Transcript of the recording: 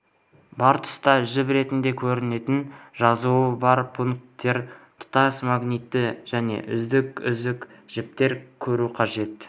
бар тұтас жіп ретінде көрінетін жазуы бар пунктирлер тұтас магнитті және үзік-үзік жіпті көру қажет